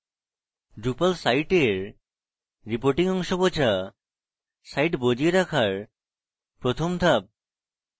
drupal সাইটের reporting অংশ বোঝা site বজিয়ে রাখার প্রথম ধাপ